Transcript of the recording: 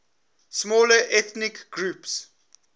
smaller ethnic groups